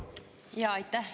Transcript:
Aitäh!